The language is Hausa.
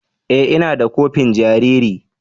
E! Ina da kofin jariri.